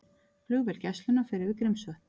Flugvél Gæslunnar fer yfir Grímsvötn